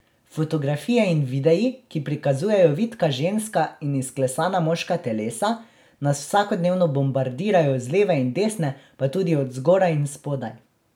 Fotografije in videi, ki prikazujejo vitka ženska in izklesana moška telesa, nas vsakodnevno bombardirajo z leve in desne pa tudi od zgoraj in spodaj.